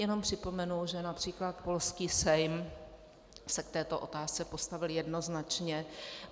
Jenom připomenu, že například polský Sejm se k této otázce postavil jednoznačně.